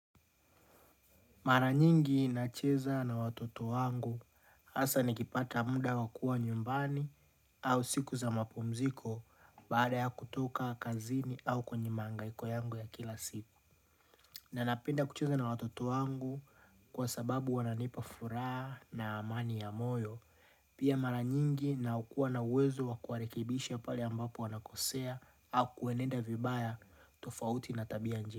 Mara nyingi nacheza na watoto wangu hasaa nikipata muda wa kua nyumbani au siku za mapumziko baada ya kutoka kazini au kwenye mahangaiko yangu ya kila siku. Na napenda kucheza na watoto wangu kwa sababu wananipa furaha na amani ya moyo. Pia mara nyingi na kua na uwezo wa kuwarekebisha pale ambapo wanakosea au kuenenda vibaya tofauti na tabia.